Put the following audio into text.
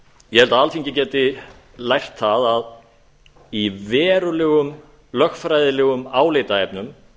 ég held að alþingi geti lært það að í verulegum lögfræðilegum álitaefnum